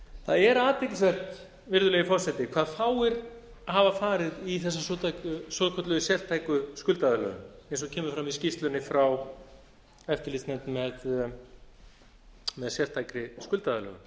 það er athyglisvert virðulegi forseti hvað fáir hafa farið í þessa svokölluðu sértæku skuldaaðlögun eins og kemur fram í skýrslunni frá eftirlitsnefnd með sérstakri skuldaaðlögun